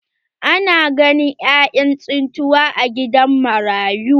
Ana ganin ƴaƴan tsintuwa a gidan marayu.